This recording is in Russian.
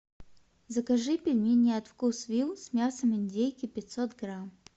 закажи пельмени от вкусвилл с мясом индейки пятьсот грамм